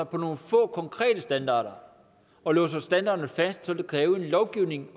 på nogle få konkrete standarder og låser standarderne fast så vil kræve en lovgivning